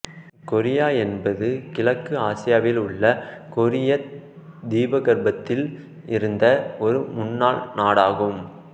Korea என்பது கிழக்கு ஆசியாவில் உள்ள கொரியத் தீபகற்பத்தில் இருந்த ஒரு முன்னாள் நாடாகும்